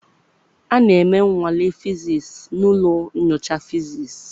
A na-eme nnwale fiziisii na ụlọ nyocha fiziisii.